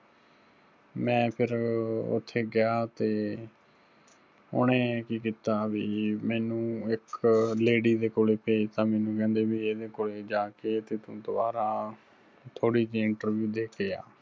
ਮੈਂ ਫਿਰ ਉੱਥੇ ਗਿਆ ਤੇ ਉਹਨੇ ਕੀ ਕੀਤਾ ਵੀ ਮੈਨੂੰ ਇੱਕ lady ਦੇ ਕੋਲੇ ਭੇਜਤਾ, ਮੈਨੂੰ ਕਹਿੰਦੇ ਵੀ ਇਹਦੇ ਕੋਲੇ ਜਾ ਕੇ ਤੇ ਤੂੰ ਦੁਬਾਰਾ ਆ, ਥੋੜੀ ਜਿਹੀ interview ਦੇ ਕੇ ਆ